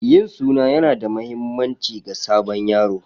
Yin suna yana da mahimmanci ga sabon yaro.